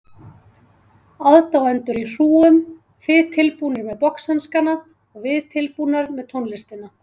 Aðdáendur í hrúgum, þið tilbúnir með boxhanskana og við tilbúnar með tónlistina.